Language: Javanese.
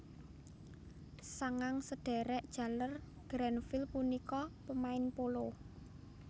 Sangang sedhèrèk jaler Grenfell punika pemain polo